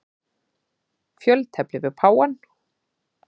Fjöltefli við páfann.